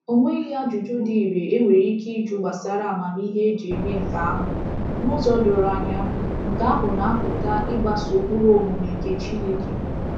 O nweghi ajụjụ dị irè e nwere ike ịjụ gbasara amamihe e ji eme nke ahụ. N’ụzọ doro anya, nke ahụ na-apụta ịgbaso ụkpụrụ omume nke Chineke.